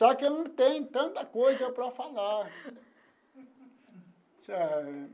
Só que eu não tenho tanta coisa para falar.